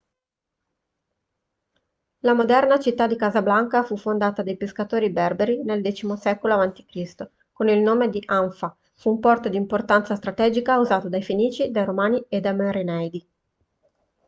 la moderna città di casablanca fu fondata dai pescatori berberi nel x secolo a.c. con il nome di anfa fu un porto di importanza strategica usato dai fenici dai romani e dai merenidi